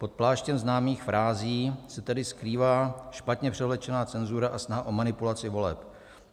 Pod pláštěm známých frází se tedy skrývá špatně převlečená cenzura a snaha o manipulaci voleb.